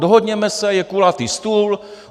Dohodněme se, je kulatý stůl.